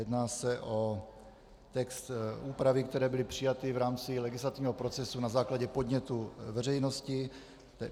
Jedná se o text, úpravy, které byly přijaty v rámci legislativního procesu na základě podnětů veřejnosti.